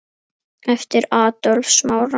Eftir Adolf Smára.